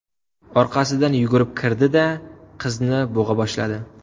Orqasidan yugurib kirdi-da, qizni bo‘g‘a boshladi.